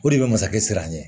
O de bɛ masakɛ siran ɲɛ